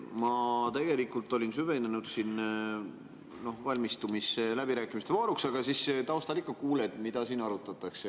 Ma tegelikult olin süvenenud siin, valmistumas läbirääkimiste vooruks, aga taustal ikka kuuled, mida siin arutatakse.